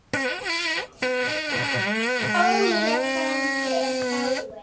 Óli frændi er dáinn.